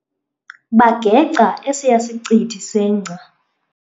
Bageca esiya sicithi sengca.